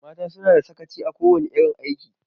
Mata suna da sakaci a kowana irin aiki.